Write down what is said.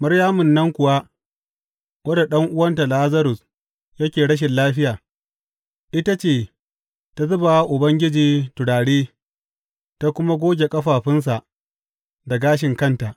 Maryamun nan kuwa, wadda ɗan’uwanta Lazarus yake rashin lafiya, ita ce ta zuba wa Ubangiji turare ta kuma goge ƙafafunsa da gashin kanta.